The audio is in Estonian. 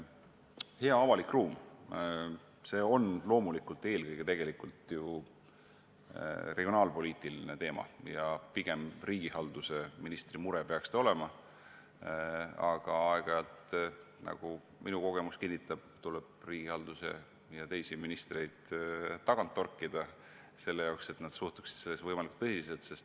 Hea avalik ruum on loomulikult eelkõige regionaalpoliitiline teema, mis peaks pigem riigihalduse ministri mure olema, aga aeg-ajalt, nagu minu kogemus kinnitab, tuleb riigihalduse ja teisi ministreid tagant torkida, et nad suhtuksid sellesse võimalikult tõsiselt.